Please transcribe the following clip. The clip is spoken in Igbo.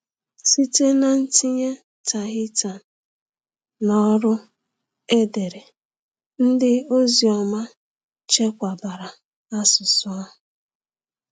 Site n’itinye Tahitian n’ọrụ edere, ndị ozi ọma chekwabara asụsụ ahụ.